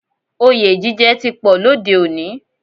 Òye jíjẹ ti pọ̀ lóde òní